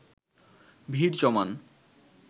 ভিড় জমান